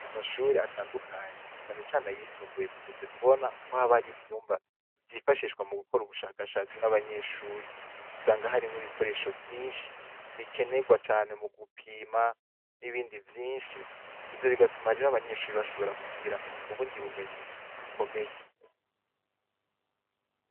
Amshure atandukanye cane cane ayisumbuye, dukunze kubona ko haba hariyo ivyumba vyifashishwa mu gukora ubushakashatsi nabanyeshure usanga harimwo ibikoresho vyinshi bikenerwa cane mu gupima nibindi vyinshi. Ivyo bigatuma rero abanyeshure bashobora kugira ubundi bumenyi bukomeye.